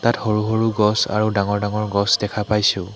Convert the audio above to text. ইয়াত সৰু সৰু গছ আৰু ডাঙৰ ডাঙৰ গছ দেখা পাইছোঁ।